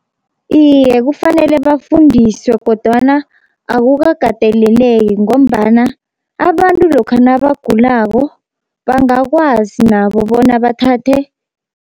Iye kufanele bafundiswe kodwana akukakateleleki, ngombana abantu lokha nabagulako bangakwazi nabo bona bathathe